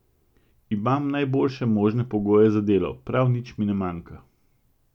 Imam najboljše možne pogoje za delo, prav nič mi ne manjka.